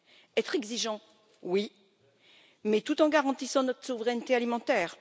Être exigeant, oui, mais tout en garantissant notre souveraineté alimentaire.